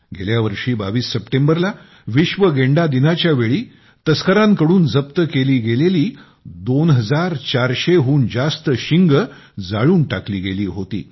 गेल्या 22 सप्टेंबरला विश्व गेंडा दिनाच्यावेळी तस्करांकडून जप्त केली गेलेली 2400 हून जास्त शिंगे जाळून टाकली गेली होती